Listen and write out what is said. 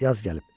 Yaz gəlib.